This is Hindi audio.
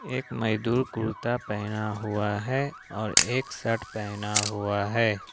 एक मजदूर कुर्ता पहना हुआ है और एक शर्ट पहना हुआ है।